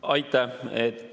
Aitäh!